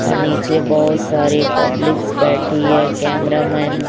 अ नीचे के बहुत सारे पब्लिकस् बैठी है कैमरा मैन --